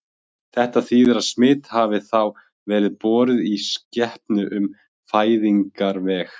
Þetta þýðir að smit hafi þá verið borið í skepnu um fæðingarveg.